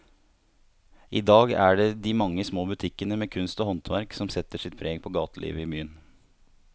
I dag er det de mange små butikkene med kunst og håndverk som setter sitt preg på gatelivet i byen.